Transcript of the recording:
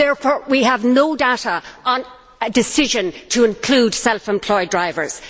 Therefore, we have no data on a decision to include self employed drivers.